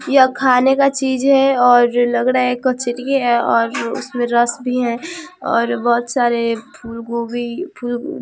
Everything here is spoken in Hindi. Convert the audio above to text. यह खाने का चीज है और लग रहा है कचड़ी है और उसमें रस भी है और बहुत सारे फूलगोभी फूल --